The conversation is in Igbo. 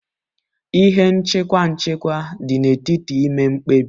Ihe nchịkwa nchịkwa dị n'etiti ime mkpebi.